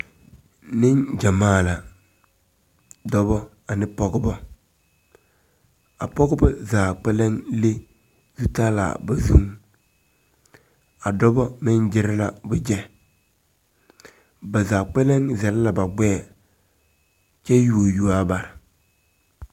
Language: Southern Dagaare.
Neŋgyamaa la dɔbɔ ne pɔgebɔ a pɔgebɔ zaa kpɛlɛŋ le zutalaa ba zu a dɔbɔ meŋ gyire la wogyɛ ba zaa kpɛlɛŋ zɛle la ba gbɛɛ kyɛ yuo yuo aa ba.